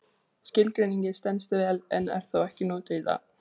Skilgreiningin stenst vel en er þó ekki notuð í dag.